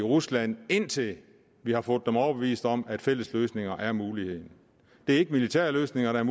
rusland indtil vi har fået dem overbevist om at fælles løsninger er mulighed militære løsninger er